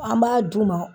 An b'a d'u ma